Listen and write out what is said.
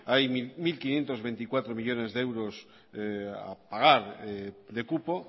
hay mil quinientos veinticuatro millónes de euros a pagar de cupo